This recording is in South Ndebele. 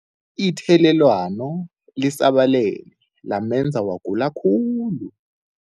Ithelelwano lisabalele lamenza wagula khulu.